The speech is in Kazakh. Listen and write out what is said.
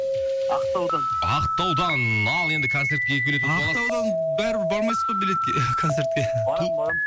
ақтаудан ақтаудан ал енді концертке екі билет ұтып аласыз ақтаудан бәрібір бармайсыз ғой билетке концертке барамын барамын